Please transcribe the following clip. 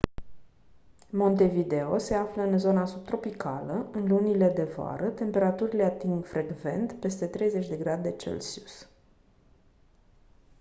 montevideo se află în zona subtropicală; în lunile de vară temperaturile ating frecvent peste 30°c